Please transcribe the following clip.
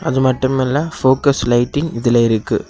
அதுமட்டுமல்ல focus lighting இங்க இருக்கு.